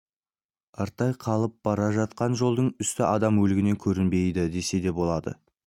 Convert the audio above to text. артта қалып бара жатқан жолдың үсті адам өлігінен көрінбейді десе де болады